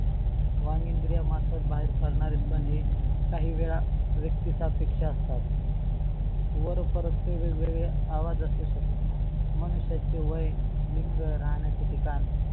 वंग इंद्रियान मार्फत बाहेर करणार येत का नाही? काही वेळा व्यक्तीच्या अपेक्षा असतात वर परत ते वेगवेगळे आवाज असू शकतात. माणसाचे वय, लिंग, राहण्याचे ठिकाण